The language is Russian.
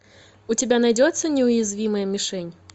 у тебя найдется неуязвимая мишень